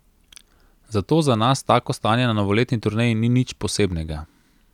Zato za nas tako stanje na novoletni turneji ni nič posebnega.